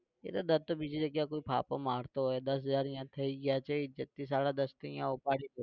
એટલે દત્ત તો બીજી જગ્યાએ કોઈ ફાફા મારતો હોય દસ હજાર અહીંયા થઇ ગયા છે ઇજ્જ્ત થી સાડા દસ થી અહીંયા ઉપાડ